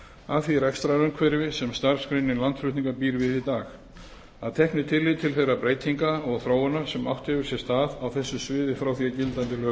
að því rekstrarumhverfi sem starfsgreinin landflutningar býr við í dag að teknu tilliti til þeirra breytinga og þróunar sem átt hefur sér stað á þessu sviði frá því